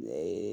Ne ye